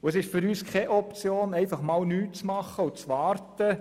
Für uns ist es keine Option, einfach nichts zu tun und zu warten.